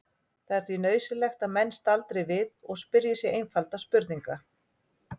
Það er því nauðsynlegt að menn staldri við og spyrji sig einfaldra spurninga